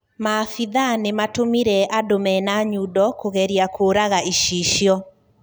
Maabitha nimatumire andũ mena nyundo kũgeria kũũraga icicio.